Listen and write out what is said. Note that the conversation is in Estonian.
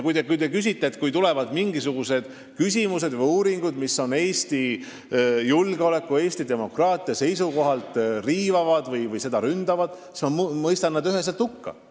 Ja kui tulevad mingisugused uuringud, mille järgi nad riivavad või ründavad Eestit julgeoleku või demokraatia seisukohalt, siis ma mõistan nad üheselt hukka.